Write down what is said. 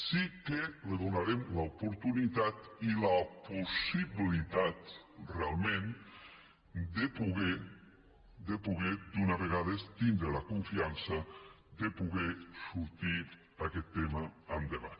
sí que li donarem l’oportunitat i la possibilitat realment de poder d’una vegada tindre la confiança de poder fer sortir aquest tema endavant